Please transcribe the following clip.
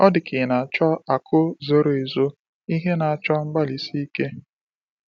Ọ dị ka ịchọ akụ zoro ezo—ihe na-achọ ngbalịsi ike.